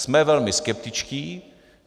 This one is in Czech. Jsme velmi skeptičtí.